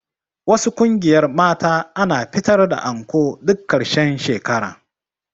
Wasu ƙungiyar mata ana fitar da anko duk ƙarshen shekara